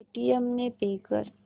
Paytm ने pay कर